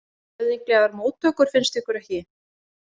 Höfðinglegar móttökur, finnst ykkur ekki?